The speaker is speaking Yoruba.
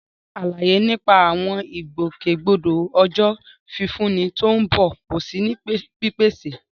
Rárá, àlàyé nípa àwọn ìgbòkègbodò Ọjọ́ Fífúnni tó ń bọ̀ kò sí ní pípèsè.